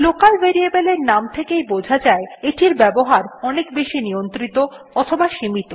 local variables এর নাম থেকেই বোঝা যায় এটির ব্যবহার বেশি নিয়ন্ত্রিত অথবা সীমিত